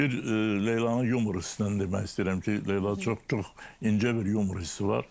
Bir Leylanın yumor hissinə demək istəyirəm ki, Leyla çox çox incə bir yumor hissi var.